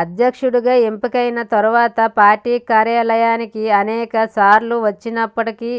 అధ్యక్షుడిగా ఎంపికైన తర్వాత పార్టీ కార్యాలయానికి అనేక సార్లు వచ్చినప్పటికీ